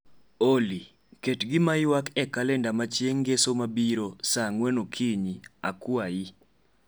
olly ket gimaywak e kalenda ma chieng ngeso mabiro saa angwen okinyi akwayi